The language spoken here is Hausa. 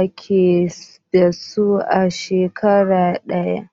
ake dasu a shekara daya